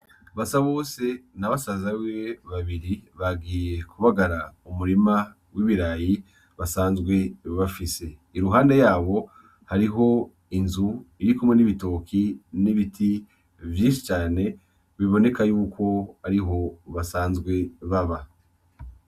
Basabose na basaza biwe babiri bagiye kubagara umurima w'ibirayi basanzwe bafise, iruhande yawo hariho inzu irikumwe n'ibitoki; n'ibiti vyinshi cane biboneka yuko ariho basanzwe baba.